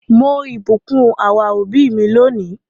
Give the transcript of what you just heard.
Mo ìbùkún our òbí mi lónìí.